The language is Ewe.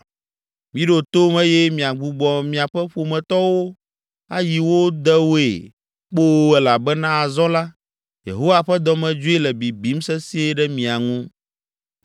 Miɖo tom eye miagbugbɔ miaƒe ƒometɔwo ayi wo dewoe kpoo elabena azɔ la, Yehowa ƒe dɔmedzoe le bibim sesĩe ɖe mia ŋu.”